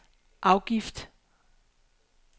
afgift